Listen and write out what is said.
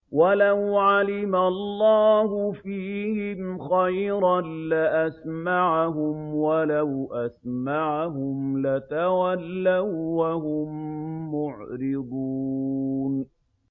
وَلَوْ عَلِمَ اللَّهُ فِيهِمْ خَيْرًا لَّأَسْمَعَهُمْ ۖ وَلَوْ أَسْمَعَهُمْ لَتَوَلَّوا وَّهُم مُّعْرِضُونَ